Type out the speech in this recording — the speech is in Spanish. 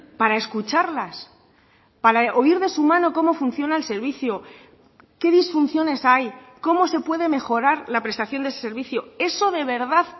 para escucharlas para oír de su mano como funciona el servicio qué disfunciones hay cómo se puede mejorar la prestación de ese servicio eso de verdad